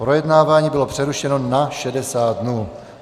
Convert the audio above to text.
Projednávání bylo přerušeno na 60 dnů.